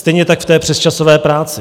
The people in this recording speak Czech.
Stejně tak v té přesčasové práci.